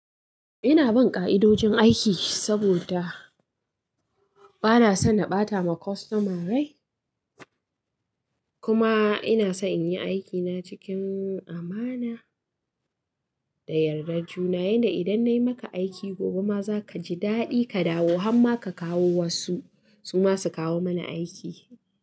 Ina bin ka'idojin aiki saboda bana son na ɓata wa kwastoma rai. Kuma ina son in yi aikina cikin amana da yardar juna. Yanda idan nayi maka aiki gobe ma za kaji daɗi ka dawo hamma ka kawo wasu su ma su kawo mani aiki.